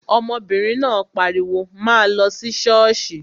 Ọmọbìnrin náà pariwo, 'máa lọ sí ṣọ́ọ̀ṣì'